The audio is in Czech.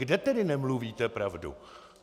Kde tedy nemluvíte pravdu?